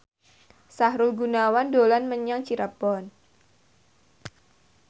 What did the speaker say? Sahrul Gunawan dolan menyang Cirebon